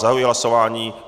Zahajuji hlasování.